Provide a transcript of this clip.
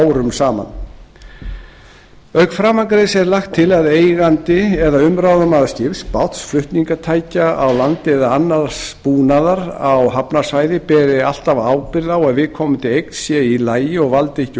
árum saman auk framangreinds er lagt til að eigandi eða umráðamaður skips báts flutningstækja á landi eða annars búnaðar á hafnarsvæði beri alltaf ábyrgð á að viðkomandi eign sé í lagi og valdi ekki